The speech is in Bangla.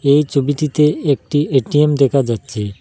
এই ছবিটিতে একটি এ_টি_এম দেখা যাচ্ছে।